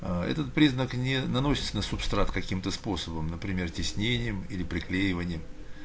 аа этот признак не наносится на субстрат каким-то способом например тиснением или приклеиванием